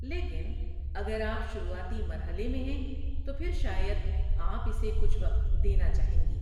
لیکن اگر آپ شروعاتی مرحلے میں ہیں، تو پھر شاید آپ اسے کچھ وقت دینا چاہیں گی۔